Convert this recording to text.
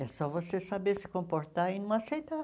É só você saber se comportar e não aceitar.